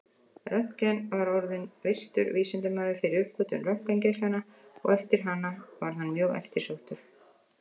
Röntgen var orðinn virtur vísindamaður fyrir uppgötvun röntgengeislanna og eftir hana varð hann mjög eftirsóttur.